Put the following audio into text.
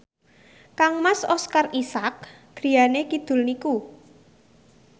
kangmas Oscar Isaac griyane kidul niku